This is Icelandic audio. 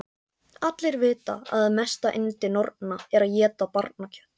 Allir vita að mesta yndi norna er að éta barnakjöt.